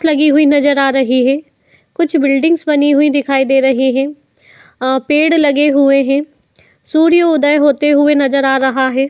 लगी हुई नजर आ रही है। कुछ बिल्डिंग्स बनी हुई दिखाई दे रही हैं। अं पेड़ लगे हुए हैं। सूर्य उदय होते हुए नजर आ रहा है।